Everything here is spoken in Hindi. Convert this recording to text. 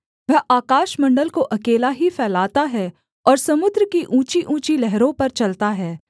वह आकाशमण्डल को अकेला ही फैलाता है और समुद्र की ऊँचीऊँची लहरों पर चलता है